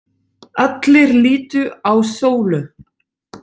Allir litu á Sólu.